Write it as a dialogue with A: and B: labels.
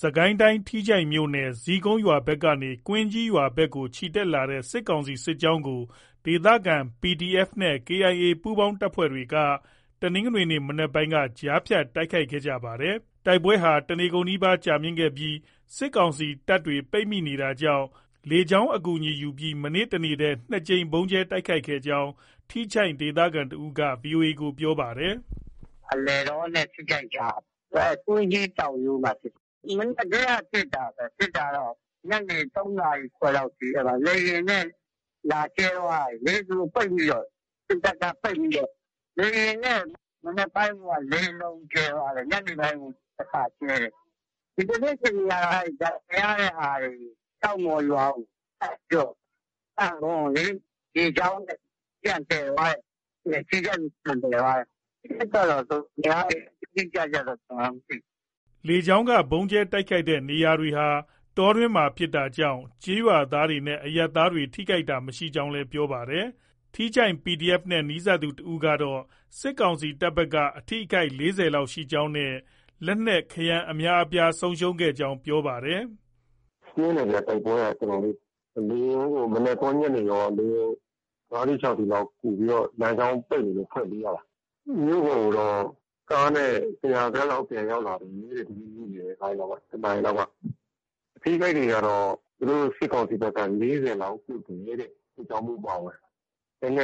A: စစ်ကိုင်းတိုင်း ထီးချိုင့်မြို့နယ်မှာ ဇီးကုန်းရွာ ဘက်ကနေ ကွင်းကြီးရွာ ဘက်ကို ချီတက်လာတဲ့ စစ်ကောင်စီ စစ်ကြောင်းကို ဒေသခံ PDF နဲ့ KIA ပူးပေါင်း တပ်တွေက တနင်္ဂနွေနေ့ မနက်ပိုင်း ကြားဖြတ် တိုက်ခိုက်ခဲ့ကြတာပါ။ တိုက်ပွဲဟာ တနေကုန်နီးပါး ကြာမြင့်ခဲ့ပြီး စစ်ကောင်စီတပ်တွေ ပိတ်မိနေတာကြောင့် လေကြောင်းအကူ ယူပြီး မနေ့က တနေ့တည်း ၂ ကြိမ် ဗုံးကြဲတိုက်ခိုက်ခဲ့ကြောင်း ထီးချိုင့်ဒေသခံ တဦးက ဗွီအိုအေကို ပြောပါ
B: တယ်။ “ အလယ်တောနဲ့ ထီးချိုင့်ကြား။ ကွင်းကြီးတောင်ရိုးမှာ ဖြစ်တာ။ ဖြစ်တာကတော့ မနက်ကတည်းက ဖြစ်တာပဲ။ ညနေ ၃ နာရီခွဲ လောက်ထိ။ လေယာဉ်နဲ့ လာကြဲ သွားတာလေ။ သူတို့ ပိတ်မိတော့။ စစ်တပ်က ပိတ်မိတော့။ လေယာဉ်နဲ့ မနက်ပိုင်းမှာကိုပဲ ၄ လုံး ကြဲသွားတယ်။ ညနေပိုင်း တခါ ကြဲတယ်။ ဒီကနေ့ အခြေအနေ ကတော့ အဲဒီ ဒဏ်ရာရတဲ့ဟာတွေကို ကျောက်မှော်ရွာကို ကဲ့ပြီးတော့ သံခွံလေ။ ရေကြောင်းနဲ့ ပြန်သယ်သွားတယ်။ ထီးချိုင့်ကို ပြန်သယ်သွားတယ်။ အထိအခိုက်ကတော့ များတယ်။ အတိအကျတော့ ကျနော်လည်း မသိဘူး။”
A: လေကြောင်းက ဗုံးကြဲတိုက်ခိုက်တဲ့ နေရာတွေဟာ တောတွင်းမှာဖြစ်တာကြောင့် ကျေးရွာတွေ နဲ့ အရပ်သားတွေ ထိခိုက်တာ မရှိကြောင်းလည်း ပြောပါတယ်။ ထီးချိုင့် PDF နဲ့ နီးစပ်သူ တဦးကတော့ စစ်ကောင်စီတပ် ဘက်က အထိအခိုက် ၄၀ လောက် ရှိကြောင်းနဲ့ လက်နက်ခဲယမ်း အများအပြားကို ဆုံးရှုံးခဲ့ကြောင်း ပြောပါတယ်။
C: “ပြင်းတယ်ဗျ။ တိုက်ပွဲက တော်တော်လေး။ လေယာဉ်ကို မနက်ကော၊ ညနေကော လေယာဉ် ၅ စီး၊ ၆ စီးလောက် လမ်းကြောင်း ပိတ်နေလို့ ကူပြီးတော့ ဖွင့်ပေးရတာ။ မြို့ပေါ်ကိုတော့ ကားနဲ့ ၁၀၀ လောက် ပြန်ရောက်လာပြီတဲ့။ ဒီနေ့ နေ့လည် ၁ နာရီလောက်က။ အထိအခိုက်တွေကတော့ သူတို့ စစ်ကောင်စီဘက်က ၄၀ လောက် ပြုတ်တယ်တဲ့ စစ်ကြောင်းမှူး အပါအဝင်။ လက်န